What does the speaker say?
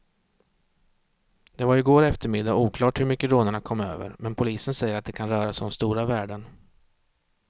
Det var i går eftermiddag oklart hur mycket rånarna kom över, men polisen säger att det kan röra sig om stora värden.